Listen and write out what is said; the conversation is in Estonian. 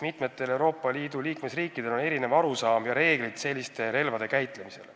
Mitmetel Euroopa Liidu liikmesriikidel on erinevad arusaamad ja reeglid, mis puudutavad selliste relvade käitlemist.